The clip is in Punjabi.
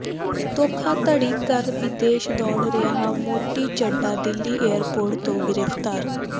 ਧੋਖਾਧੜੀ ਕਰ ਵਿਦੇਸ਼ ਦੌੜ ਰਿਹਾ ਮੌਂਟੀ ਚੱਢਾ ਦਿੱਲੀ ਏਅਰਪੋਰਟ ਤੋਂ ਗ੍ਰਿਫ਼ਤਾਰ